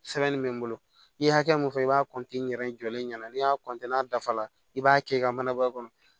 Sɛbɛnni bɛ n bolo i ye hakɛ min fɔ i b'a ɲɛ jɔlen ɲɛna n'i y'a n'a dafa la i b'a kɛ i ka mana bɔ a kɔnɔ